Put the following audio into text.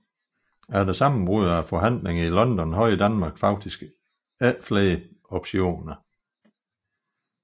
Efter sammenbrud af forhandlingerne i London havde Danmark faktisk ikke flere optioner